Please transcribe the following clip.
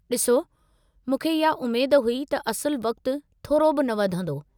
ॾिसो, मूंखे इहा उमेद हुई त असुलु वक़्त थोरो बि न वधंदो।